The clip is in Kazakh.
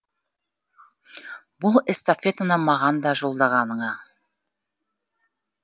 бұл эстафетаны маған да жолдағаныңа